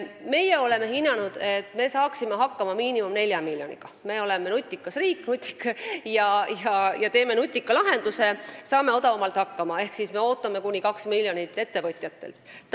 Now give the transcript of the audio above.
Meie oleme arvestanud, et saaksime hakkama minimaalselt nelja miljoniga – me oleme nutikas riik ja teeme nutika lahenduse, saame odavamalt hakkama – ja sellest kahte miljonit ootame ettevõtjatelt.